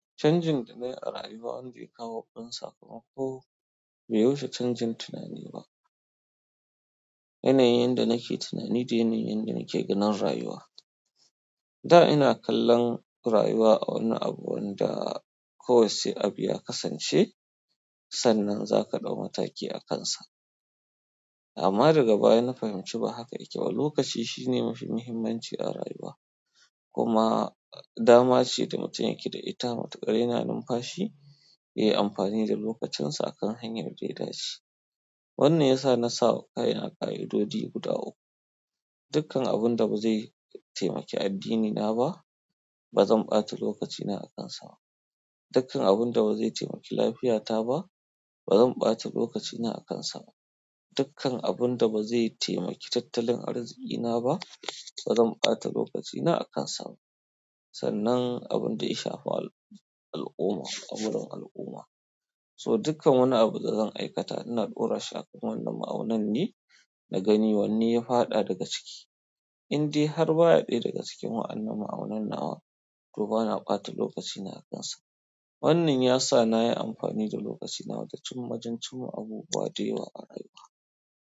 Chanjin da na yi a rayuwa, wanda ya kawo abun sakamako, bai wuce canjin tunani ba. Yanayin da nake tunani, shine yanayin da nake ganin rayuwa. Da ina kallon rayuwa a wani abu wanda kawai sai abu yakasance sannan zaka ɗau mataki akansa amma daga baya na fahimci ba haka yake ba. Lokaci shine mafi muhimmanci a rayuwa. Kuma dama ce da mutum yake da ita. Matuƙa yana numfashi, ya yi amfani da lokacinsa akan hanyar da ya dace. Wannan ya sa na sawa kaina ka'idodi guda uku. Dukkan abun da ba zai taimake addinina ba, ba zan ɓata lokacina a kansa ba. Dukkan abun da ba zai taimake lafiyata ba, ba zan ɓata lokacina a kansa ba. Dukkan abun da ba zai taimaki tattalin arzikina ba, ba zan ɓata lokacina a kansa ba. Sannan abun da ya shafa al'umma, amurran al'umma. So dukkan wani abu da zan aikata, ina ɗora shi a cikin wannan ma'aunin, na gani wanne ya faɗa daga ciki. Inde har ba a ɓe daga cikin wannan ma'aunin na wa, to ba na ɓata lokacina a kansa ba. Wannan ya sa na yi amfani da lokacina wajen majan cin wa abubuwa dewa a rayuwa.